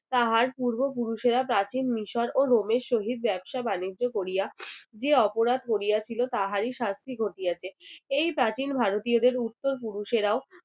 তাহার পূর্বপুরুষেরা প্রাচীন মিশর ও রোমের সহিত ব্যবসা বাণিজ্য করিয়া যে অপরাধ করিয়াছিল তাহারই শাস্তি ঘটিয়াছে। এই প্রাচীন ভারতীয়দের উত্তর পুরুষেরাও